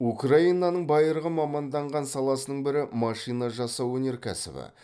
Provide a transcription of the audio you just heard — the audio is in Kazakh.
украинаның байырғы маманданған саласының бірі машина жасау өнеркәсібі